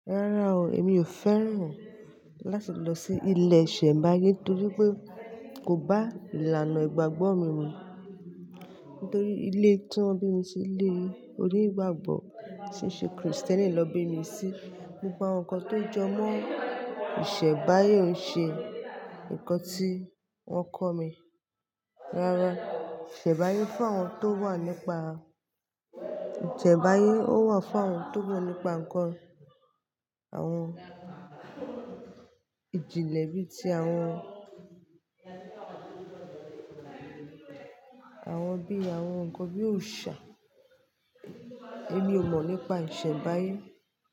Rárá o, èmi ò fẹ́ràn láti lọ sí ilẹ̀ ìṣẹ̀ḿbáyé nítorí pé kò bá ìlànà ìgbàgbọ́ mi mu. Nítorí ilé tí wọ́n bí mi sí lé orí ìgbàgbọ́ tí ń ṣe Krìstẹ́nì lọ bí mi sí. Gbogbo awon nkán tó jọmọ́ ìṣẹ̀ḿbáyé o ṣe nkán tí wọ́n kọ̀ mí. Rárá, ìṣẹ̀ḿbáyé fún àwọn tó wà nípa ìṣẹ̀ḿbáyé ó wà fún àwọn tó wà nípa nkán àwọn ìjìnlẹ̀ bí i tí àwọn, àwọn bí i, àwọn nkán bí i òrìṣà. Èmi ò mọ̀ nípa ìṣẹ̀ḿbáyé.